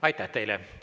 Aitäh teile!